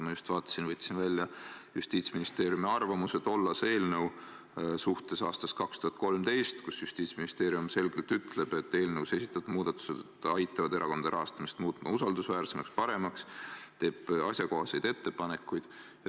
Ma just vaatasin, võtsin välja Justiitsministeeriumi arvamuse tollase eelnõu kohta aastast 2013, kus Justiitsministeerium selgelt ütleb, et eelnõus esitatud muudatused aitavad erakondade rahastamist muuta usaldusväärsemaks ja paremaks, ning teeb asjakohaseid ettepanekuid.